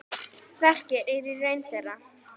Verkið er í raun þeirra.